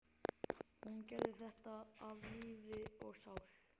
Hún gerði þetta af lífi og sál.